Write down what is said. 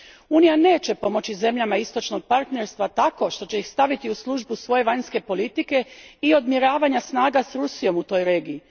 Unija neće pomoći zemljama Istočnoga partnerstva tako što će ih staviti u službu svoje vanjske politike i odmjeravanja snaga s Rusijom u toj regiji.